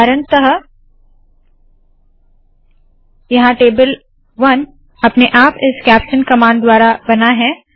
उदाहरणतः यहाँ टेबल 1 अपने आप इस कैप्शन कमांड द्वारा बना है